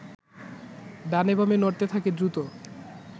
ডানে বামে নড়তে থাকে দ্রুত